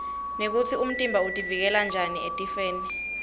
nekutsi umtimba utiuikela njani etifwoni